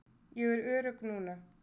Ég er örugg núna.